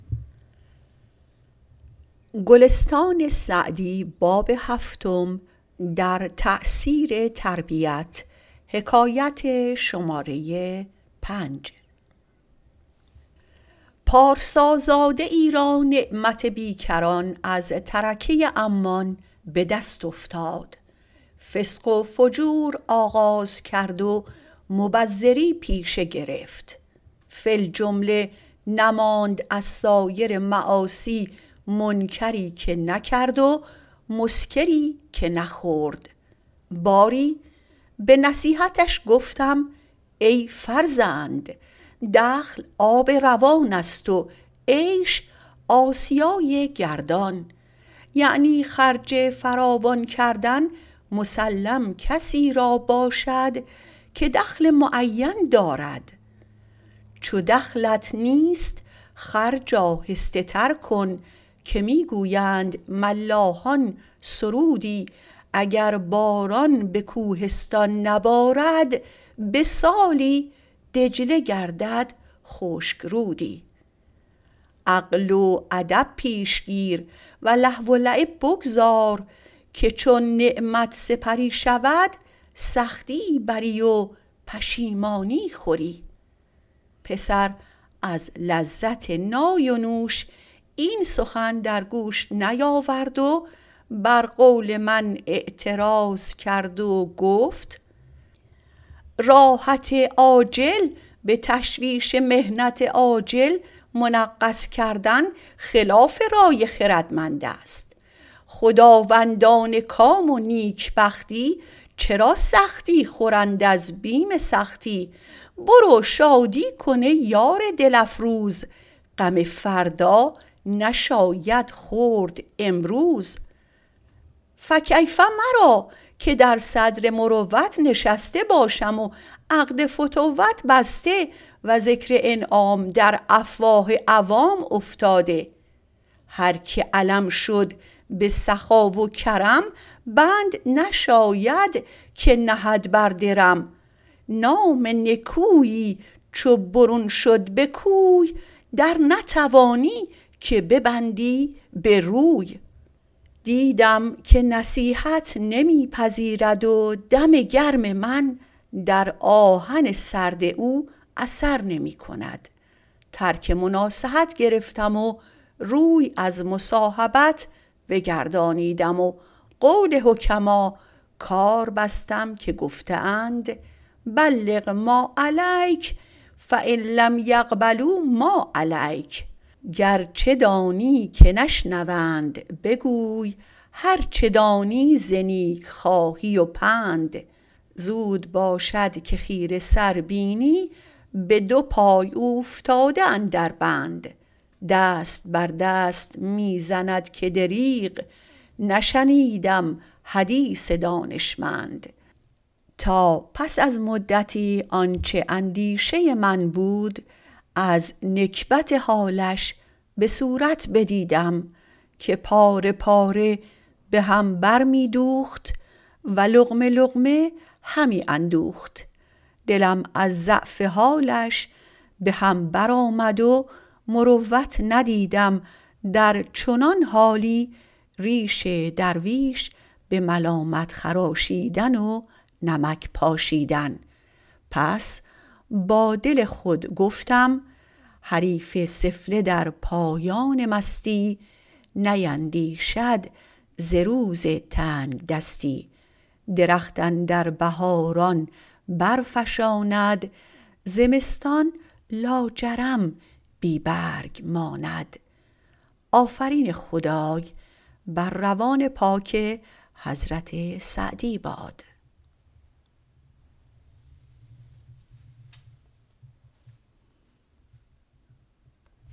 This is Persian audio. پارسازاده ای را نعمت بیکران از ترکه عمان به دست افتاد فسق و فجور آغاز کرد و مبذری پیشه گرفت فی الجمله نماند از سایر معاصی منکری که نکرد و مسکری که نخورد باری به نصیحتش گفتم ای فرزند دخل آب روان است و عیش آسیای گردان یعنی خرج فراوان کردن مسلم کسی را باشد که دخل معین دارد چو دخلت نیست خرج آهسته تر کن که می گویند ملاحان سرودی اگر باران به کوهستان نبارد به سالی دجله گردد خشک رودی عقل و ادب پیش گیر و لهو و لعب بگذار که چون نعمت سپری شود سختی بری و پشیمانی خوری پسر از لذت نای و نوش این سخن در گوش نیاورد و بر قول من اعتراض کرد و گفت راحت عاجل به تشویش محنت آجل منغص کردن خلاف رای خردمند است خداوندان کام و نیکبختی چرا سختی خورند از بیم سختی برو شادی کن ای یار دل افروز غم فردا نشاید خورد امروز فکیف مرا که در صدر مروت نشسته باشم و عقد فتوت بسته و ذکر انعام در افواه عوام افتاده هر که علم شد به سخا و کرم بند نشاید که نهد بر درم نام نکویی چو برون شد به کوی در نتوانی که ببندی به روی دیدم که نصیحت نمی پذیرد و دم گرم من در آهن سرد او اثر نمی کند ترک مناصحت گرفتم و روی از مصاحبت بگردانیدم و قول حکما کار بستم که گفته اند بلغ ما علیک فان لم یقبلوا ما علیک گرچه دانی که نشنوند بگوی هر چه دانی ز نیکخواهی و پند زود باشد که خیره سر بینی به دو پای اوفتاده اندر بند دست بر دست می زند که دریغ نشنیدم حدیث دانشمند تا پس از مدتی آنچه اندیشه من بود از نکبت حالش به صورت بدیدم که پاره پاره به هم بر می دوخت و لقمه لقمه همی اندوخت دلم از ضعف حالش به هم بر آمد و مروت ندیدم در چنان حالی ریش درویش به ملامت خراشیدن و نمک پاشیدن پس با دل خود گفتم حریف سفله در پایان مستی نیندیشد ز روز تنگدستی درخت اندر بهاران بر فشاند زمستان لاجرم بی برگ ماند